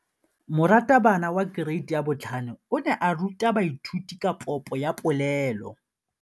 Moratabana wa kereiti ya 5 o ne a ruta baithuti ka popô ya polelô.